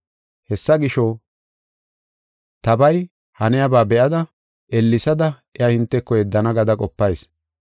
Hessa gisho, tabay haniyaba be7ada ellesada iya hinteko yeddana gada qopayis.